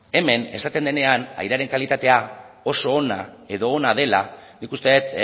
hemen esaten denean airearen kalitatea oso ona edo ona dela nik uste dut